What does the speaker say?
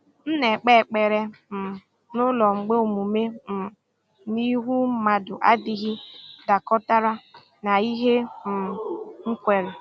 M na-ekpe ekpere um n’ụlọ mgbe omume um n’ihu mmadụ adịghị dakọtara na ihe um m kweere.